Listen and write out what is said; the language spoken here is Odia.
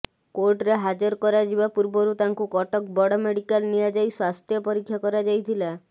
କୋର୍ଟରେ ହାଜର କରାଯିବା ପୂର୍ବରୁ ତାଙ୍କୁ କଟକ ବଡ଼ ମେଡିକାଲ୍ ନିଆଯାଇ ସ୍ୱାସ୍ଥ୍ୟ ପରୀକ୍ଷା କରାଯାଇଥିଲା